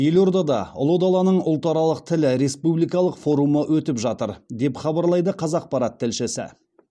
елордада ұлы даланың ұлтаралық тілі республикалық форумы өтіп жатыр деп хабарлайды қазақпарат тілшісі